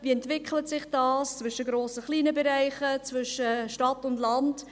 Wie entwickelt sich das zwischen grossen und kleinen Bereichen, zwischen Stadt und Land?